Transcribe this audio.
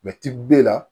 b'e la